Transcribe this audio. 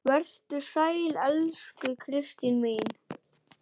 Vertu sæl, elsku Kristín mín.